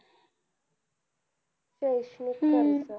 शैक्षणिक कर्ज